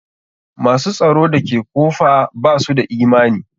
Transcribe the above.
Ma s u tsaro da ke kofa ba su da imani.